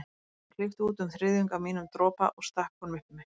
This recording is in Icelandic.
Ég klippti út um þriðjung af mínum dropa og stakk honum upp í mig.